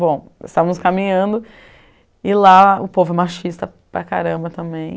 Bom, estávamos caminhando e lá o povo é machista para caramba também.